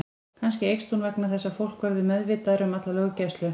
Kannski eykst hún vegna þess að fólk verður meðvitaðra um alla löggæslu.